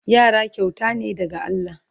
Yara kyauta ne daga Allah